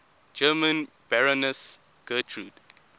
german baroness gertrud